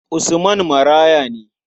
Usman maraya ne.